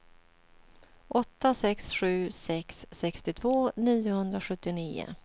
åtta sex sju sex sextiotvå niohundrasjuttionio